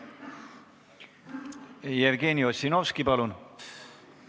Jevgeni Ossinovski, palun!